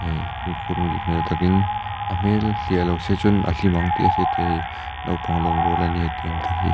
eee fimkhur hmel takin a hmel hliah lo se chuan a hlim ang tih a hriat theih a ni naupang lawm rual a nia tiang te hi.